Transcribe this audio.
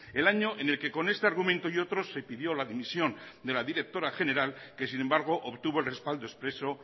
el año en el que con este argumento y otro se pidió la dimisión de la directora general que sin embargo obtuvo el respaldo expreso